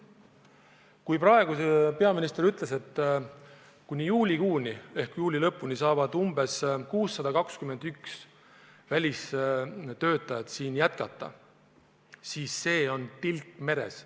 Kui praegu ütles peaminister, et kuni juuli lõpuni saavad 621 välistöötajat siin jätkata, siis see on tilk meres.